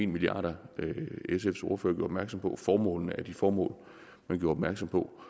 milliard kr sfs ordfører gjorde opmærksom på og formålene er de formål man gjorde opmærksom på